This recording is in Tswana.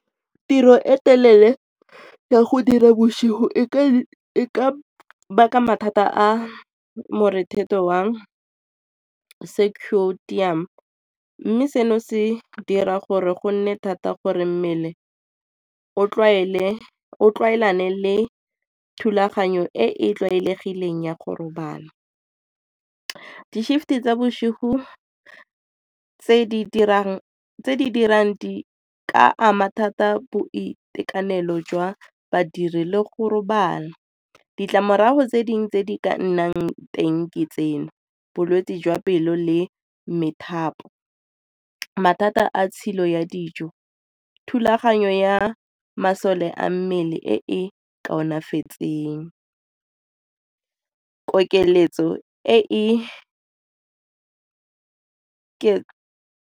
Tiro e telele ya go dira bosigo e ka baka mathata a morethetho mme seno se dira gore go nne thata gore mmele o tlwaelane le thulaganyo e e tlwaelegileng ya go robala. Di-shift-e tsa bosigo tse di dirang ka ama thata boitekanelo jwa badiri le go robala. Ditlamorago tse dingwe tse di ka nnang teng ke tseno, bolwetse jwa pelo le methapo, mathata a tshilo ya dijo, thulaganyo ya masole a mmele e e kaonafetseng, kokeletso e e .